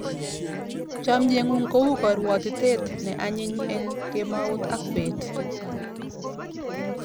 Chomye ng'ung' ko u karwotitet ne anyin eng' kemout ak peet.